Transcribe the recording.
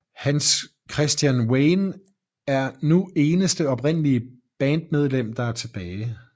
Hans Christian Wayne er nu eneste oprindelige bandmedlem der er tilbage